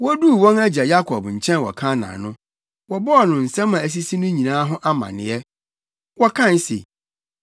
Woduu wɔn agya Yakob nkyɛn wɔ Kanaan no, wɔbɔɔ no nsɛm a asisi no nyinaa ho amanneɛ. Wɔkae se,